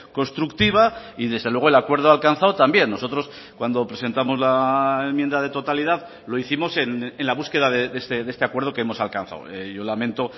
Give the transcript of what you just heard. constructiva y desde luego el acuerdo alcanzado también nosotros cuando presentamos la enmienda de totalidad lo hicimos en la búsqueda de este acuerdo que hemos alcanzado yo lamento